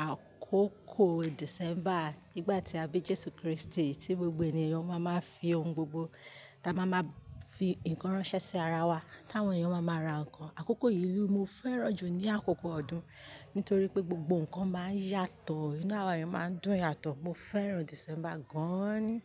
àkókò December. Nígbà tí a bí Jésù Kristi tí gbogbo ènìyàn ó máa máa fi oun gbogbo, ta máa máa fi nǹkan ránṣẹ́ sí ara wa, táwọn ènìyàn ó máa máa ra nǹkan. Àkókò yìí li mo fẹ́ràn jù ní àkókò ọdún nítorí pé gbogbo nǹkan máa ń yàtọ̀, inú àwa eyan máa ń dùn yàtọ̀. Mo fẹ́ràn December gan-an ni.